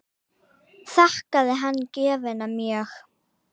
Þakkaði hann gjöfina mjög.